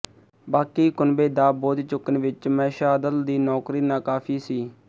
ਬਾਕੀ ਕੁਨਬੇ ਦਾ ਬੋਝ ਚੁੱਕਣ ਵਿੱਚ ਮਹਿਸ਼ਾਦਲ ਦੀ ਨੌਕਰੀ ਨਾਕਾਫੀ ਸੀ